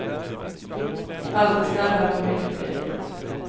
Allt är städat och mycket prydligt.